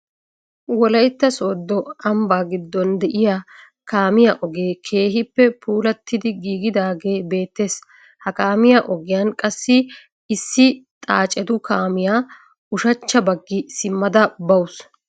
wolaytta sooddo ambbaa gidon de'iyaa kaamiyaa ogee keehippe puulattidi giigidagee beettees. ha kaamiyaa ogiyaan qassi issi xaacetu kaamiyaa ushshachcha baggi simmada bawus.